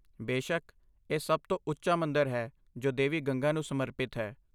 ਬੇਸ਼ੱਕ, ਇਹ ਸਭ ਤੋਂ ਉੱਚਾ ਮੰਦਰ ਹੈ ਜੋ ਦੇਵੀ ਗੰਗਾ ਨੂੰ ਸਮਰਪਿਤ ਹੈ।